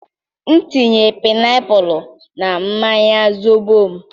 m tinye painiapulu na mmanya zobo m